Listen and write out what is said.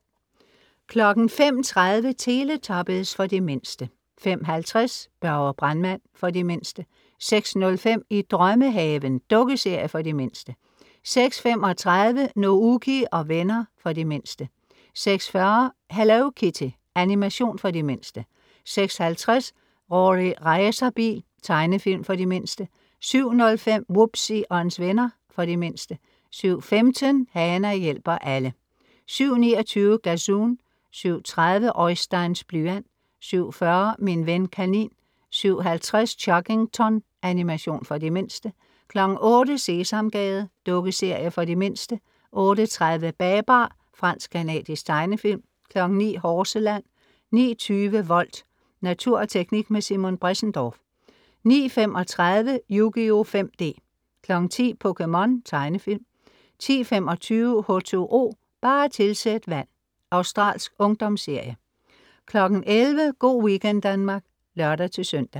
05.30 Teletubbies. For de mindste 05.50 Børge brandmand. For de mindste 06.05 I drømmehaven. Dukkeserie for de mindste 06.35 Nouky og venner. For de mindste 06.40 Hello Kitty. Animation for de mindste 06.50 Rorri Racerbil. Tegnefilm for de mindste 07.05 Wubbzy og hans venner. For de mindste 07.15 Hana hjælper alle 07.29 Gazoon 07.30 Oisteins blyant 07.40 Min ven kanin 07.50 Chuggington. Animation for de mindste 08.00 Sesamgade. Dukkeserie for de mindste 08.30 Babar. Fransk-canadisk tegnefilm 09.00 Horseland 09.20 Volt. Natur og teknik med Simon Bressendorff 09.35 Yugioh 5D 10.00 POKéMON. tegnefilm 10.25 H2O, bare tilsæt vand. australsk ungdomsserie 11.00 Go' weekend Danmark (lør-søn)